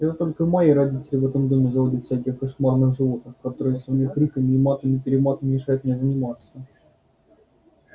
это только мои родители в этом доме заводят всяких кошмарных животных которые своими криками и матами-перематами мешают мне заниматься